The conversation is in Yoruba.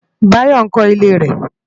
Bayo nkò ilé rè